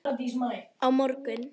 Á morgun